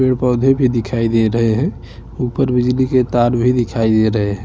पेड़-पौधे भी दिखाई दे रहे है ऊपर बिजली के तार भी दिखाई दे रहे है।